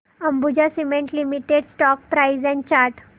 Ambuja cement limited stock price and chart